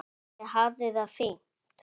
Ég hafði það fínt.